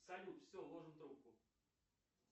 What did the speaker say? салют все ложим трубку